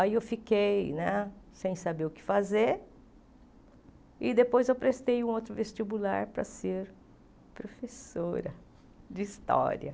Aí eu fiquei né sem saber o que fazer e depois eu prestei um outro vestibular para ser professora de história.